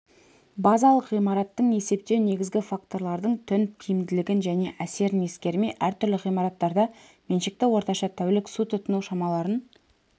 базалық ғимараттың есептеу негізгі факторлардың түн тиімділігін және әсерін ескермей әртүрлі ғимараттарда меншікті орташа тәулік су тұтыну шамаларын